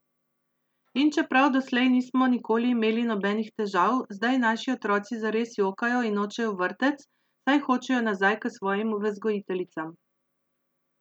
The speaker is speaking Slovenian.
In čeprav doslej nismo nikoli imeli nobenih težav, zdaj naši otroci zares jokajo in nočejo v vrtec, saj hočejo nazaj k svojim vzgojiteljicam.